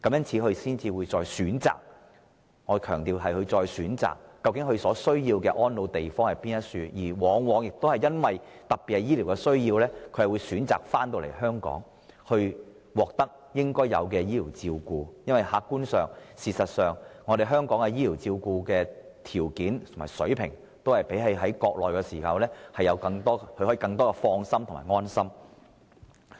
於是，他們必須再選擇——我強調是再選擇——所需的安老之地，而且往往特別基於醫療需要而選擇返回香港，接受應有的醫療照顧，因為客觀上、事實上，香港的醫療條件和水平的確較內地的更能令人放心和安心。